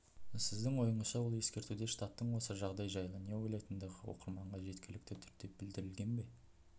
сіздің ойыңызша ол ескертуде штаттың осы жағдай жайлы не ойлайтындығы оқырманға жеткілікті түрде білдірілген бе